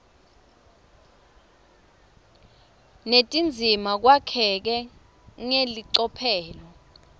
netindzima kwakheke ngelicophelo